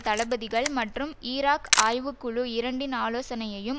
தளபதிகள் மற்றும் ஈராக் ஆய்வு குழு இரண்டின் ஆலோசனையையும்